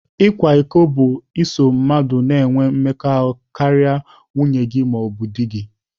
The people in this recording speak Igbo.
Ịkwa iko bụ iso mmadụ na-enwe mmekọahụ karịa nwunye gị ma ọ bụ di gị.